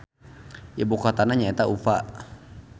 Ibu kotana nya eta Ufa.